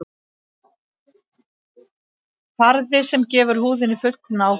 Farði sem gefur húðinni fullkomna áferð